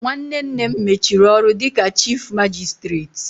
Nwanne nne m mechiri ọrụ dịka chifu magisitireti